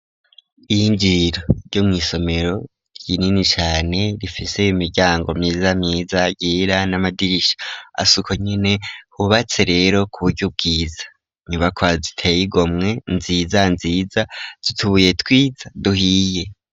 Iyinjiriro ryo mw'isomero rinini cane rifise imiryango myiza myiza yera n'amadirisha asuko nyene hubatse rero kuburyo bwiza inyubaka ziteye igomwe nziza nziza zutubuye twiza duhiye.